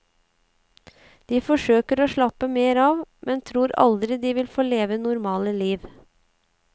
De forsøker å slappe mer av, men tror aldri de vil få leve normale liv.